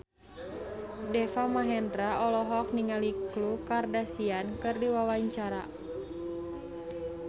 Deva Mahendra olohok ningali Khloe Kardashian keur diwawancara